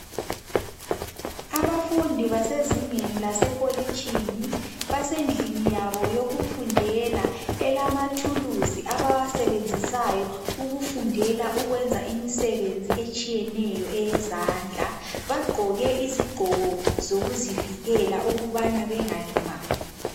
Abafundi basezingeni lasekolitshini basendlini yabo yokufundela elamathuluzi abawasebenzisayo ukufundela ukwenza imisebenzi etshiyeneyo eyezandla. Bagqoke izigqoko zokuzivikela ukubana bengalimali.